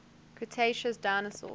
cretaceous dinosaurs